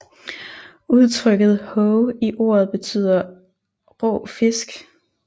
Udtrykket hoe i ordet betyder rå fisk